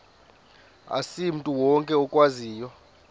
asimntu wonke okwaziyo